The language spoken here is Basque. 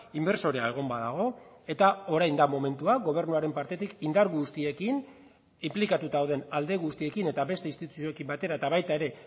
inbertsorea egon badago eta orain da momentua gobernuaren partetik indar guztiekin inplikatuta dauden alde guztiekin eta beste instituzioekin batera eta baita ere